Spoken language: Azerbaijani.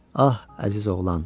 Ah, əziz oğlan.